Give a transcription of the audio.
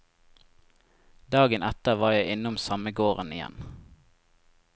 Dagen etter var jeg innom samme gården igjen.